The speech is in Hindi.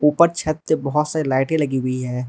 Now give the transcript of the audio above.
उपर छत पर बहोत सारी लाइटें लगी हुई है।